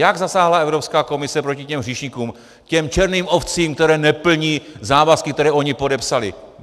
Jak zasáhla Evropská komise proti těm hříšníkům, těm černým ovcím, které neplní závazky, které oni podepsali?